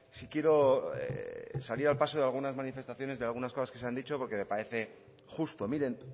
sí quiero salir al paso de algunas manifestaciones de algunas cosas que se han dicho porque me parece justo miren